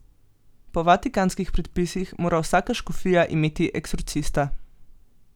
Po vatikanskih predpisih mora vsaka škofija imeti eksorcista.